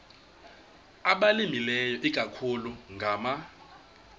abalimileyo ikakhulu ngama